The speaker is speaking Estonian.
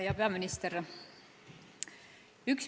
Hea peaminister!